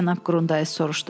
Cənab Qrundays soruşdu.